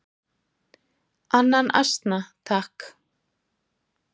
"""Annan asna, takk!"""